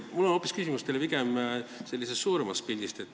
Mul on teile küsimus hoopis sellise suurema pildi kohta.